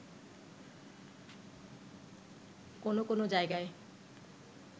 কোনো কোনো জায়গায়